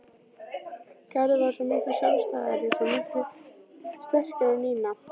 Gerður var svo miklu sjálfstæðari, svo miklu sterkari en Nína.